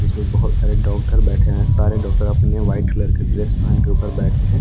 ये बहुत सारे डॉक्टर बैठे हैं सारे डॉक्टर अपने व्हाइट कलर की ड्रेस पहन के ऊपर बैठे हैं।